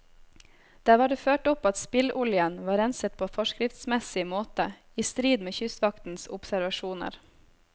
Der var det ført opp at spilloljen var renset på forskriftsmessig måte, i strid med kystvaktens observasjoner.